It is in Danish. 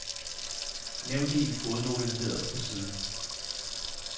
Nævn det i en fodnote nederst på siden.